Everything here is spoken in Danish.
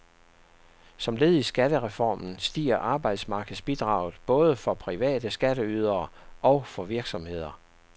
Som led i skattereformen stiger arbejdsmarkedsbidraget både for private skatteydere og for virksomheder.